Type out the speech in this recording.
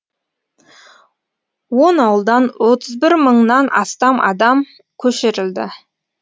он ауылдан отыз бір мыңнан астам адам көшірілді